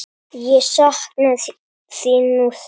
Ég sakna þín nú þegar.